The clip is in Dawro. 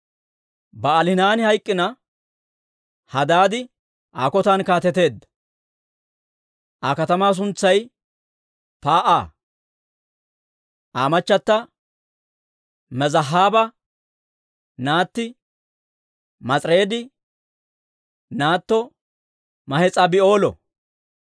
Ba'aalihanaani hayk'k'ina, Hadaadi Aa kotan kaateteedda; Aa katamaa suntsay Paa'a. Aa machata Mezaahaaba naatti Maas'ireedi naatto Mahes'aabi'eelo.